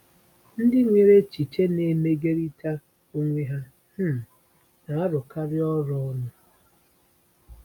Ndị nwere echiche na-emegiderịta onwe ha um na-arụkarị ọrụ ọnụ.